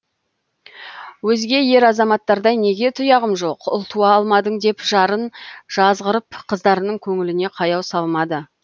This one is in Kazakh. өзге ер азаматтардай неге тұяғым жоқ ұл туа алмадың деп жарын жазғырып қыздарының көңіліне қаяу салмады